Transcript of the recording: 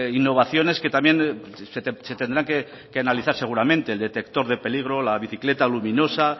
innovaciones que también se tendrán que analizar seguramente el detector de peligro la bicicleta luminosa